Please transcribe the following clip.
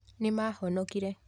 Nĩ Maahonokire